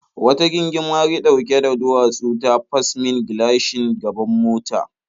Wata gingimari ɗauke da duwatsu ta fas min gilashin gaban mota.